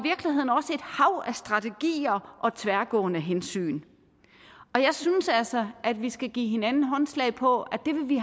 hav af strategier og tværgående hensyn jeg synes altså at vi skal give hinanden håndslag på at det vil vi